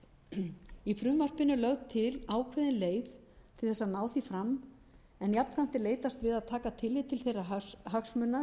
í frumvarpinu er lögð til ákveðin leið til að ná því fram en jafnframt er leitast við að taka tillit til þeirra hagsmuna